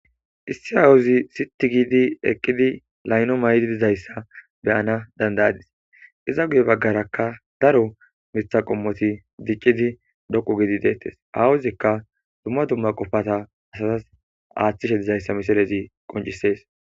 Issi awuzi siti gidi eqqidi layno may7di dizayssa beyana dandayadis iza guye baggarakka daro mitha qommoti diccidi dhoqu gidi deettes awuzikka dumma dumma qofata asazas aathchishe dizayssa misilezi qoncisees.